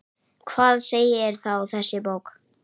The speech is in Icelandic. Hvað segir þá þessi bók?